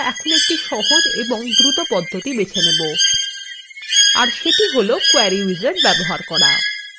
এর সেটি হল কোয়েরি উইজার্ড ব্যবহার করা